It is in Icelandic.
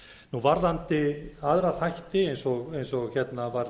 varðandi aðra þætti eins og hérna var